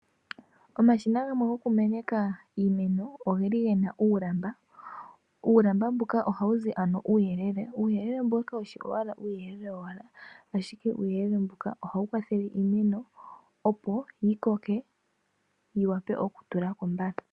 Omashina gamwe goku meneka iimeno ogeli gena uulamba . Uulamba mbuka ohawuzi uuyelele, uuyelele mbuka kawushi owala uuyelele wowala ashike ohawu kwathele iimeno opo yi koke yiwape oku tulako mbala .